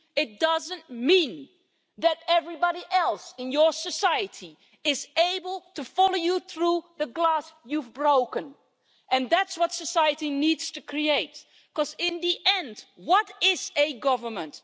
It doesn't mean that everybody else in your society is able to follow you through the glass you've broken, and it is that possibility that society needs to create because, in the end, what is a government?